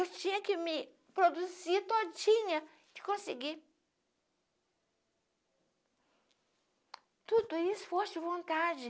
Eu tinha que me produzir todinha para conseguir tudo, em esforço e vontade.